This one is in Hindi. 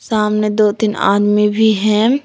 सामने दो तीन आदमी भी हैम --